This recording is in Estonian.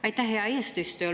Aitäh, hea eesistuja!